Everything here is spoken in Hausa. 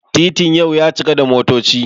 titin yau ya cika da motoci